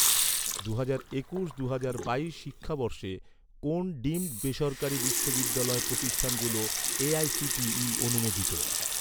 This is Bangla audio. দুহাজার একুশ দুহাজার বাইশ শিক্ষাবর্ষে, কোন ডিমড বেসরকারি বিশ্ববিদ্যালয় প্রতিষ্ঠানগুলো এ.আই.সি.টি.ই অনুমোদিত?